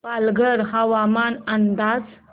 पालघर हवामान अंदाज